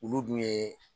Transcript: Olu dun ye